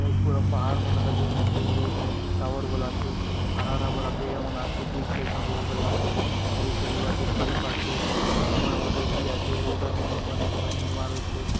ये पूरा पहाड मन दखा देयसी आचे हाय दूर - दूर ने एक ठन टॉवर बले आचे हरा - भरा पेड़ मन आचे बीच ले एक ठन रोड गला आचे आउर इथारी इबाटे पाइप आचे एक ठन थोड़े मा रेती आचे रोड र बनाय बा काजे निर्माण होयते रहे।